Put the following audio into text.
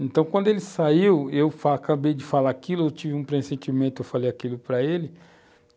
Então, quando ele saiu, eu fala, eu acabei de falar aquilo, eu tive um pressentimento, eu falei aquilo para ele.